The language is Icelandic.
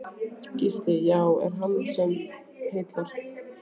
Gísli: Já, er það hann sem heillar?